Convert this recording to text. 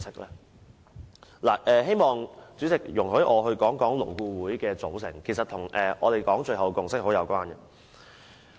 主席，希望你容許我說說勞顧會的組成，這與我們最後說的共識是有關的。